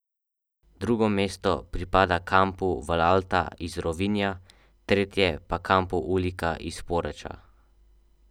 Drugo mesto pripada kampu Valalta iz Rovinja, tretje pa kampu Ulika iz Poreča.